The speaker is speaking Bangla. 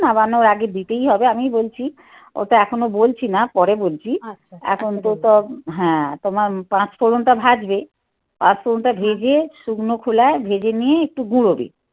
নামানোর আগে দিতেই হবে. আমি বলছি. ও তো এখনো বলছি না. পরে বলছি. এখন হ্যাঁ তোমার পাঁচফোড়নটা ভাজবে. পাঁচফোড়নটা ভেজে শুকনো খোলায় ভেজে নিয়ে একটু গুঁড়ো দি.